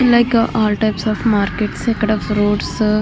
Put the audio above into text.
like all types of markets ఇక్కడ fruits --